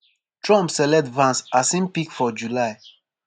trump select vance as im pick for july.